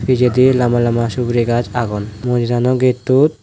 pijedi lamba lamba siguri gaj agon mondirano gettot.